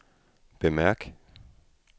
bemærk